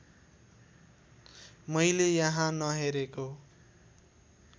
मैले यहाँ नहेरेको